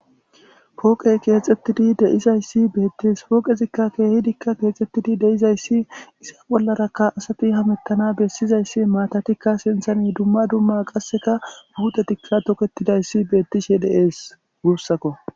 pooqey keexettidi deizayssi beettees pooqezikka keehidikka keexxettidi deizayssi issa bollarakka asati hamettana bessizayssi maatatikka sinthani dumma dumma qasseka guutetikka toketidayssi beettishe deees guussakko